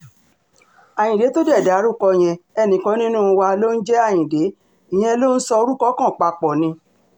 ayíǹde tó dé dárúkọ yẹn ẹnìkan nínú wa ló ń jẹ́ ayíǹde ìyẹn ló ń sọ orúkọ kan papọ̀ ni